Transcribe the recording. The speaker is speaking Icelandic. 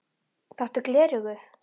Þarftu gleraugu?